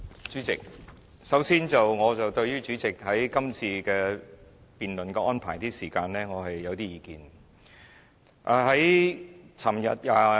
主席，首先，我對於主席今次辯論的時間安排有些意見。